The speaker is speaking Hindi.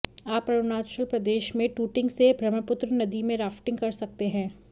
आप अरुणाचल प्रदेश में टुटिंग से ब्रह्मपुत्र नदी में राफ्टिंग कर सकते हैं